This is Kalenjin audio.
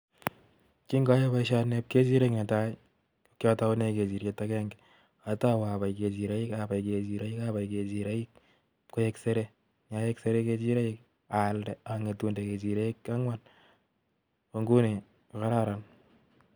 ki oyoe boishoni Bo kechirek netai, ko kikotounen kechiriek agenge, atou abai kechirek abai kechirek bokoi koik seree. Abai kechirek aalde angetu ak kechirek angwan ko inguini ko kararan